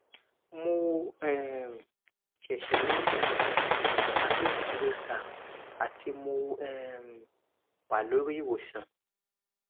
mo um se se ni um herpes zoster ati mo um wa lori iwosan